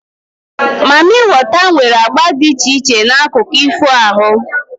Mamịwater nwere agba dị iche iche na akụkọ ifo ahụ